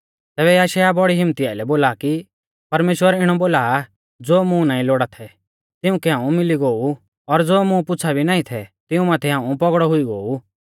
तैबै यशायाह बौड़ी हिम्मत्ती आइलै बोला आ कि परमेश्‍वर इणौ बोला आ ज़ो मुं नाईं लोड़ा थै तिउंकै हाऊं मिली गो ऊ और ज़ो मुं पुछ़ा भी नाईं थै तिऊं माथै हाऊं पौगड़ौ हुई गौ ऊ